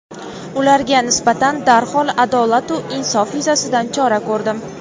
ularga nisbatan darhol adolatu insof yuzasidan chora ko‘rdim.